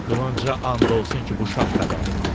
Qılınca and olsun ki, bu şad xəbərdir.